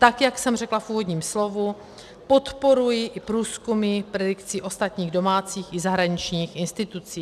Tak jak jsem řekla v úvodním slovu, podporuji i průzkumy predikcí ostatních domácích i zahraničních institucí.